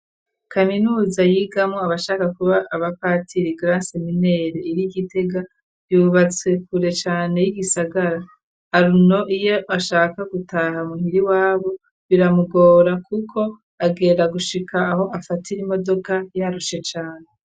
Kaminuza yigamwo abashaka kuba abapatiri mw'Iseminari nkuru iri Gitega, yubatswe kure cane y'igisagara, Aruno iyo ashaka gutaha muhira iwabo, biramugora kuko agenda gushika aho afatira imodoka, yarushe cane.